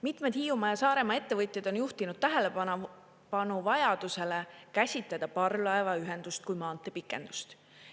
Mitmed Hiiumaa ja Saaremaa ettevõtjad on juhtinud tähelepanu vajadusele käsitleda parvlaevaühendust kui maanteepikendust.